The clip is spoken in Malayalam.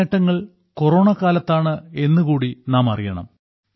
ഈ നേട്ടങ്ങൾ കൊറോണക്കാലത്താണ് എന്നുകൂടി നാം അറിയണം